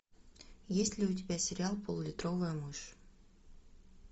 есть ли у тебя сериал пол литровая мышь